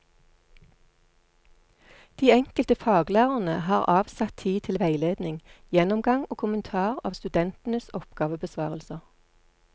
De enkelte faglærerne har avsatt tid til veiledning, gjennomgang og kommentar av studentenes oppgavebesvarelser.